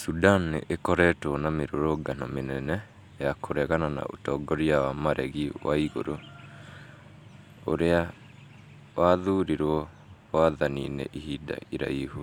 Sudan nĩ ĩkoretwo na mĩrũrũngano mĩnene ya kũregana na ũtongoria wa maregi waiguru, ũrĩa wathurirwo wathani-inĩ ihinda iraihu